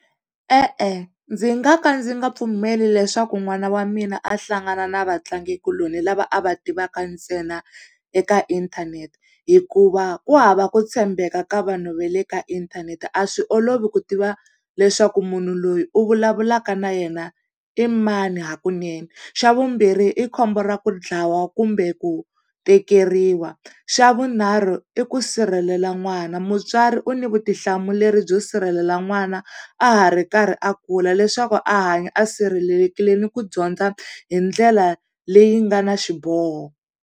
E-e ndzi nga ka ndzi nga pfumeli leswaku n'wana wa mina a hlangana na vatlangikuloni lava a va tivaka ntsena eka inthanete, hikuva ku hava ku tshembeka ka vanhu va le ka inthanete a swi olovi ku tiva leswaku munhu loyi u vulavulaka na yena i mani hakunene. Xa vumbirhi i khombo ra ku dlawa kumbe ku tekeriwa. Xa vunharhu i ku sirhelela n'wana, mutswari u ni vutihlamuleri byo sirhelela n'wana a ha ri karhi a kula leswaku a hanya a sirhelelekile ni ku dyondza hi ndlela leyi nga na xiboho.